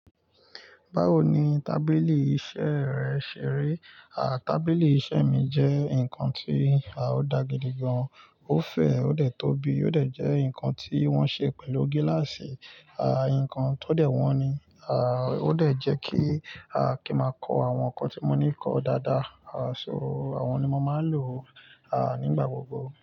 Báwo ni tábìlì iṣẹ́ rẹ ṣe rí? À, tábìlì iṣẹ́ mi jẹ́ nǹkan tí, à, ó da gidi gan. Ó fẹ̀, ó dẹ̀ tóbi, ó dẹ̀ jẹ́ ǹkan tí wọ́n ṣe pẹ̀lú gíláàsì, à, ǹkan tó dẹ̀ wọ́n ní, à, ó dẹ̀ jẹ́ kí, à, kí máa kọ àwọn nǹkan tí mo ní kọ dáadáa. À, so àwọn ni mo máa ń lò, à, nígbà gbogbo.